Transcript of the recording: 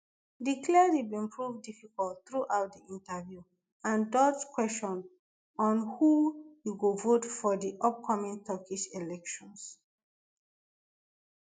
di cleric bin prove difficult throughout di interview and dodge kwesion on who e go vote for di upcoming turkish elections